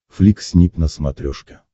флик снип на смотрешке